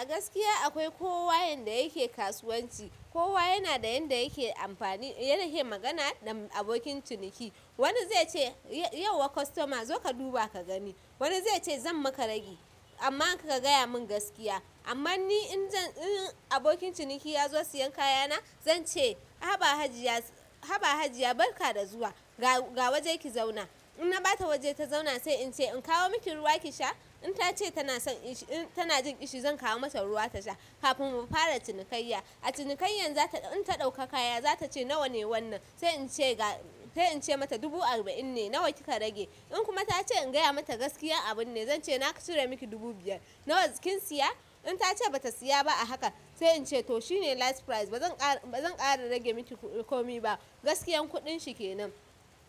A gaskiya akwai kowa yanda yake kasuwanci, kowa yana da yanda yake amfani, yake magana da abokin ciniki. Wani zai ce, "Yau yauwa kostoma zo ka duba ka gani." Wani zai ce, "Zan maka ragi amma ka gaya mun gaskiya." Amma ni in jan, in abokin ciniki ya zo siyan kaya na, zan ce, "Haba Hajiya, haba Hajiya barka da zuwa. Ga, ga waje ki zauna." In na ɓata waje ta zauna sai in ce, "In kawo miki ruwa ki sha?" In ta ce tana son ishi, tana jin ƙishi, zan kawo mata ruwa ta sha kafin mu fara cinikayya. A cinikaiyan zata, in ta ɗauka kaya, za ta ce, "Nawa ne wannan?" Sai in ce, ga, sai in ce mata, "Dubu arba'in ne. Nawa kika rage?" In kuma ta ce in gaya mata gaskiya abun ne, zan ce, "na cire miki dubu biyar. Nawa kin siya?" In tace bata siya ba a haka, sai in ce, "to shine last price. Ba zan ƙara, ba zan ƙara rage miki komi ba. Gaskiyan kuɗin shi kenan."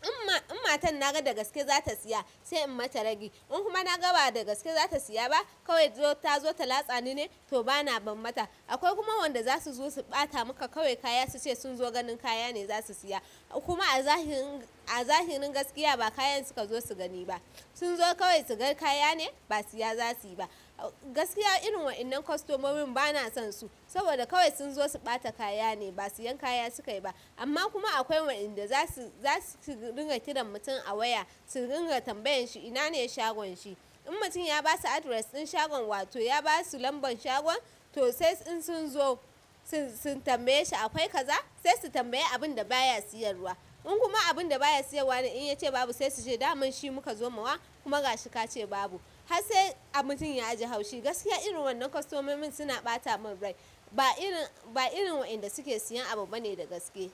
in matan naga dagaske zata siya, se in mata ragi. In kuma naga ba dagaske zata siya ba, kawai tazo ta latsani ne, toh bana ban mata. Akwai kuma wanda zasu zo su ɓata muka kawai kaya, su ce sun zo ganin kaya ne zasu siya. Kuma a zahirin, a zahirin gaskiya ba kayan suka zo su gani ba. Sunzo kawai suga kaya ne, ba siya za suyi ba. Gaskiya irin wa'innan kostomomin bana son su, saboda kawai sun zo su ɓata kaya ne, ba siyan kaya suka yi ba. Amma kuma akwai wa'innan da zasu, zasu ringa kiran mutum a waya, su ringa tambayan shi ina ne shagon shi. In mutum ya basu address ɗin shagon wa to ya basu lamban shagon, toh sai in sunzo, sun, sun tambaye shi akwai kaza, sai su tambaye abun da baya siyarwa. In kuma abunda baya siyarwa ne in ya ce babu, sai su ce, "Daman shi muka zo mawa." Kuma gashi kace babu. Har sai a mutum a yaji haushi. Gaskiya irin wannan kostomomin suna ɓata mun rai. Ba irin, ba irin wa'innan da suke siyan abu bane da gaske.